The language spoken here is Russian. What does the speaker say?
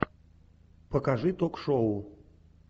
покажи ток шоу